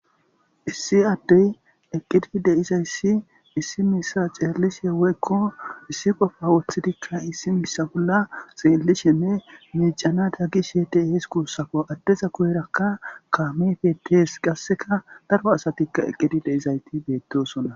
issi addey eqqidi deizayssi issi misa ceellishe weykko issi qofa woththidikka issi misa bolla xeellishenne miicana da gi shedeehes kuussako addeza kuyerakka kaamefetees qasseka daro asatikka eqqidi deizayti beettosona